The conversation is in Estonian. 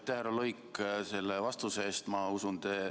Aitäh, härra Luik, selle vastuse eest!